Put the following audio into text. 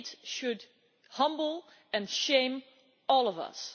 It should humble and shame all of us.